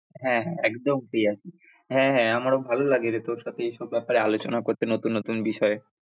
হ্যাঁ হ্যাঁ একদম free আছি, হ্যাঁ হ্যাঁ আমারও ভালো লাগে রে তোর সাথে এই সব ব্যাপারে আলোচনা করতে নতুন নতুন বিষয়ে।